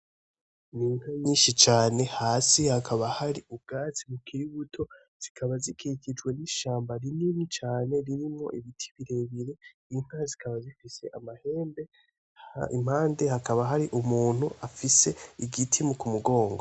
Ni inka nyinshi cane hasi hakaba hari ubwatsi bukiri buto zikaba zikikijwe nishamba rinini cane ririmwo ibiti birebire Inka zikaba zifise amahembe impande hakaba hari umuntu afise igiti ku mugongo.